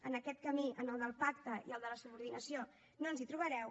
en aquest camí en el del pacte i el de la subordinació no ens hi trobareu